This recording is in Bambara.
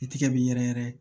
I tigɛ bi yɛrɛ yɛrɛ